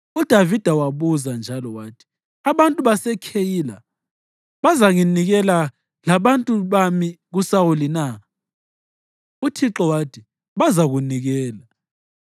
UDavida wabuza njalo wathi, “Abantu baseKheyila bazanginikela labantu bami kuSawuli na?” UThixo wathi, “Bazakunikela.”